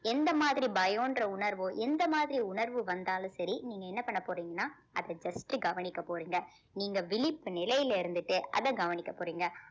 எந்த மாதிரி பயம்ன்ற உணர்வோ எந்த மாதிரி உணர்வு வந்தாலும் சரி நீங்க என்ன பண்ணப் போறீங்கன்னா அத just கவனிக்கப் போறீங்க நீங்க விழிப்பு நிலையில இருந்துட்டே அத கவனிக்கப் போறீங்க